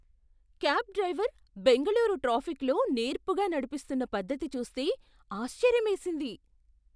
Cab driver Bengaluru ట్రాఫిక్కులో నేర్పుగా నడిపిస్తున్న పద్ధతి చూస్తే ఆశ్చర్యమేసింది.